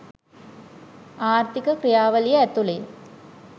ආර්ථික ක්‍රියාවලිය ඇතුළේ